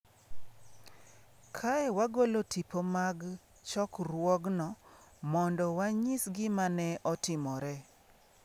Kae, wagolo tipo mag chokruogno mondo wanyis gima ne otimore.